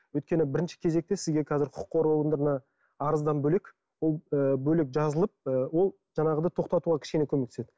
өйткені бірінші кезекте сізге қазір құқық қорғау органдарына арыздан бөлек ол ы бөлек жазылып ы ол жаңағыдай тоқтатуға кішкене көмектеседі